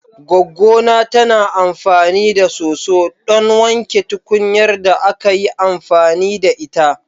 Goggona tana amfani da soso ɗon wanke tukunyar da aka yi amfani da ita.